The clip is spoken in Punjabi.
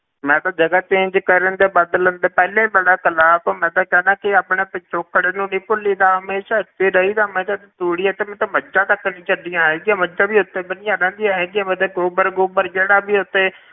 ਮੈਂ ਤੇ ਜਗ੍ਹਾ change ਕਰਨ ਦੇ ਬਦਲਣ ਦੇ ਪਹਿਲੇ ਹੀ ਬੜਾ ਖਿਲਾਫ਼ ਹਾਂ ਮੈਂ ਤਾਂ ਚਾਹੁਨਾ ਕਿ ਆਪਣਾ ਪਿਛੋਕੜ ਨੀ ਭੁੱਲੀ ਦਾ ਹਮੇਸ਼ਾ ਇੱਥੇ ਰਹੀਦਾ, ਮੈਂ ਤੇ ਤੂੜੀ ਅਤੇ ਮੱਝਾਂ ਤੱਕ ਨੀ ਛੱਡੀਆਂ ਹੈਗੀਆਂ ਮੱਝਾਂ ਵੀ ਇੱਥੇ ਬੰਨੀਆਂ ਰਹਿੰਦੀਆਂ ਹੈਗੀਆਂ ਮੈਂ ਤੇ ਗੋਬਰ ਗੋਬਰ ਜਿਹੜਾ ਵੀ ਇੱਥੇ